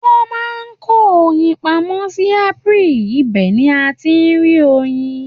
Wọ́n máa ń kó oyin pamọ́ ní apiary ibẹ̀ ni a ti ń rí oyin.